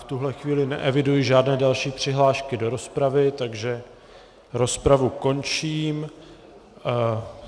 V tuto chvíli neeviduji žádné další přihlášky do rozpravy, takže rozpravu končím.